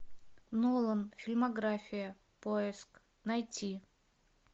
нолан фильмография поиск найти